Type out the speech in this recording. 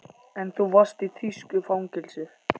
En þú varst í þýsku fangelsi